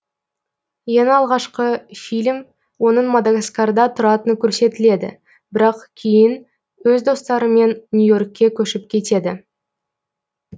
ең алғашқы фильм оның мадагаскарда тұратыны көрсетіледі бірақ кейін өз достарымен нью и оркке көшіп кетеді